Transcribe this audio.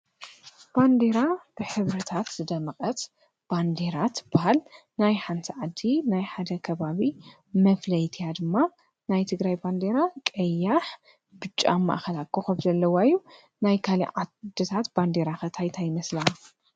ባንዴራ ብኅብርታት ዝደቀት ባንዲራ ትበሃል። ናይ ሓንቲ ዓዲ ናይ ሓነ ከባቢ መፍለይቲ እያ ድማ ናይ ትግራይ ባንዴራ ቀያሕ፣ ብጮ ኣብ ማእኸላ ኮኸብ ዘለዋ እዩ። ናይ ካልእ ዓድታት ባንዴራ ኸ እንታይ እንታይ ይመስላ?